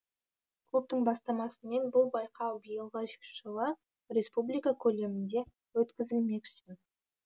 клубтың бастамасымен бұл байқау биылғы жылы республика көлемінде өткізілмекші